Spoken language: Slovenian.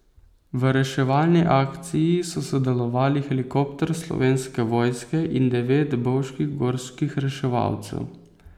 V reševalni akciji so sodelovali helikopter Slovenske vojske in devet bovških gorskih reševalcev.